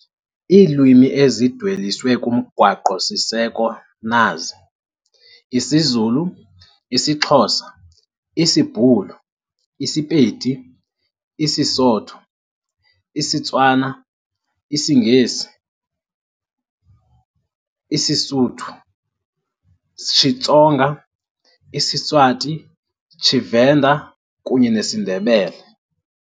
Iilwimi ezidweliswe kumGaqo siseko nazi- isiZulu, Zulu, isiXhosa, Xhosa, isiBhulu, Afrikaans, isiSepedi, Northern Sotho, isiTswana, sseTswana, isiNgesi, English, isiSuthu, isisuthu saseMzantsi, Xitsonga, Tsonga, isiSiswati, isiSwati, Tshivenda, isiVenda, kunye nesiNdebele, Southern Ndebele.